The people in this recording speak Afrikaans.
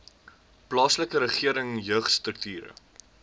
plaaslike regering jeugstrukture